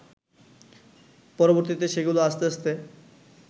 পরবর্তীতে সেগুলো আস্তে আস্তে